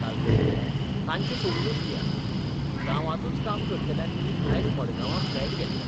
तालगडी तांचें सोडूनच दियात, गांवांतूच काम करतल्यांनीय आज मडगांवां फ्लॅट घेतल्यात.